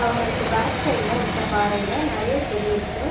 அவுங்களுக்கு பேக் சைட்ல இருக்க பாறைல நெறைய செடி இருக்கு.